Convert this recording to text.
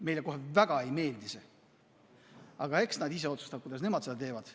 Meile väga ei meeldi see, aga eks nad ise otsustavad, kuidas nemad seda teevad.